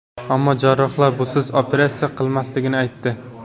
Ammo jarrohlar busiz operatsiya qilinmasligini aytdi.